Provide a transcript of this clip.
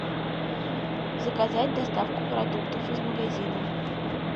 заказать доставку продуктов из магазина